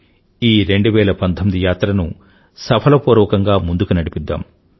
ఈ 2019 యాత్రను సఫలపూర్వకంగా ముందుకు నడిపిద్దాం